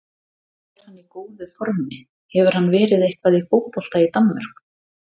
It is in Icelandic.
Er hann í góðu formi, hefur hann verið eitthvað í fótbolta í Danmörku?